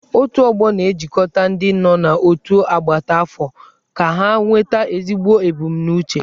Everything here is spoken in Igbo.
Otù ọgbọ na-ejikọta ndị nọ n'otu agbata afọ ka ha nweta ezigbo ebumnobi.